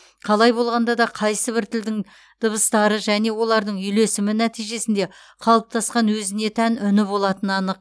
қалай болғанда да қайсыбір тілдің дыбыстары және олардың үйлесімі нәтижесінде қалыптасқан өзіне тән үні болатыны анық